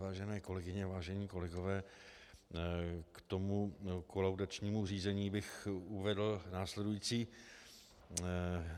Vážené kolegyně, vážení kolegové, k tomu kolaudačnímu řízení bych uvedl následující.